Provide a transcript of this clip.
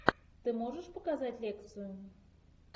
ты можешь показать лекцию